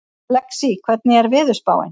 Lexí, hvernig er veðurspáin?